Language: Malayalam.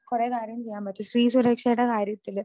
കുറേ കാര്യം ചെയ്യാൻ പറ്റും. സ്ത്രീ സുരക്ഷയുടെ കാര്യത്തില്